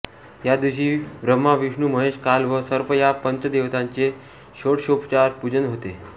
या दिवशी ब्रह्मा विष्णू महेश काल व सर्प या पंच देवतांचे षोडषोपचारे पुजन होते